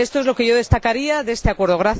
Esto es lo que yo destacaría de este Acuerdo.